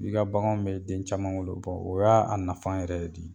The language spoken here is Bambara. I ka baganw bɛ den caman wolo o y'a a nafan yɛrɛ di.